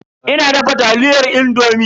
Ina dafa taliyar indomi.